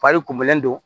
Fari kunbɛlen do